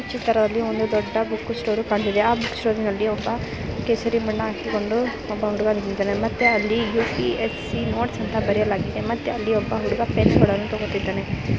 ಈ ಚಿತ್ರದಲ್ಲಿ ಒಂದು ದೊಡ್ಡ ಬುಕ್ ಸ್ಟೋರ್ ಕಾಣುತ್ತಿದೆ ಆ ಬುಕ್ ಸ್ಟೋರ್ ನಲ್ಲಿ ಹಬ್ಬ ಕೇಸರಿ ಬಣ್ಣ ಹಾಕಿಕೊಂಡು ಒಬ್ಬ ಹುಡುಗ ನಿಂತಿದ್ದಾನೆ ಮತ್ತೆ ಅಲ್ಲಿ ಯು.ಪಿ.ಎ.ಸ್ಸಿ ನೋಟ್ಸ್ ಅಂತ ಬರೆಯಲಾಗಿದೆ ಮತ್ತೆ ಅಲ್ಲಿ ಒಬ್ಬ ಹುಡುಗ ಪೆನ್ನುಕೂಡನು ತಕೋತಿದ್ದನೇ.